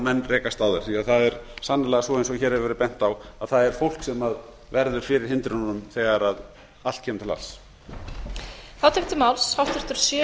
menn rekast á þær því það er sannarlega svo eins og hér hefur verið bent á að það er fólk sem verður fyrir hindrununum þegar allt kemur til alls